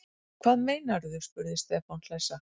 Hvað meinarðu? spurði Stefán hlessa.